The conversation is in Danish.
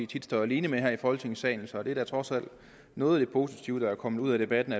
tit står alene med her i folketingssalen så det er da trods alt noget af det positive der er kommet ud af debatten